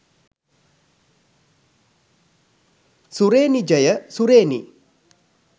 සුරේනිජ ය සුරේනි